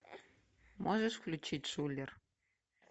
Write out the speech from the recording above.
можешь включить шулер